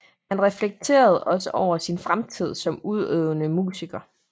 Han reflekterede også over sin fremtid som udøvende musiker